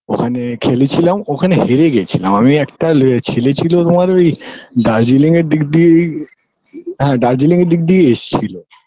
ওখানে খেলিছিলাম ওখানে হেরে গেছিলাম আমি একটা লে ছেলে ছিল তোমার ওই দার্জিলিং এর দিক দিয়েই হ্যাঁ দার্জিলিং এর দিক দিয়ে এসছিল